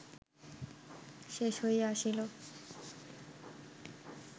শেষ হইয়া আসিল